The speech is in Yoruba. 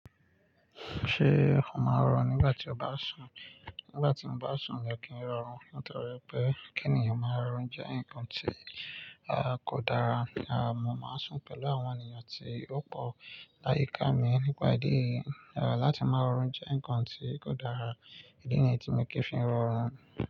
Ṣé o máa rọrùn nígbà tí o bá sùn? Nígbà tí mo bá sùn mi ò kí ń rọrùn nítorí pé kí ènìyàn máa rọrùn jẹ́ ǹkan tí a kò dára. Àmọ́ máa sùn pẹ̀lú àwọn ènìyàn tí ó pọ̀ láyìíká mi nípa ìdí eyi. Ẹ̀ láti máa rọrùn jẹ́ ǹkan tí kò dára. Ìdí nìyí tí mo kì í fi rọrùn.